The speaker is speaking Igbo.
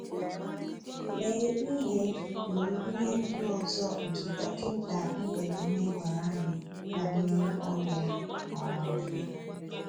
Lee ihe Lee ihe ndị ọzọ nke Dọkinta Ibeneme gwara anyị banyere ọrịa a um